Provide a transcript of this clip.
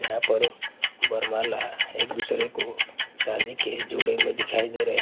यहा पर बरमला एक दूसरे को शादी के जोड़े में दिखाई दे रहे हैं।